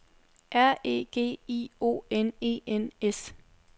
R E G I O N E N S